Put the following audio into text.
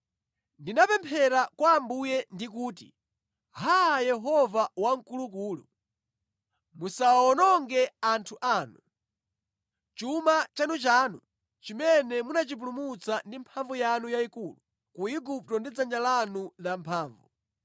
Ndinapemphera kwa Ambuye ndi kuti, “Haa Yehova Wamkulukulu, musawawononge anthu anu, chuma chanuchanu chimene munachipulumutsa ndi mphamvu yanu yayikulu ku Igupto ndi dzanja lanu la mphamvu.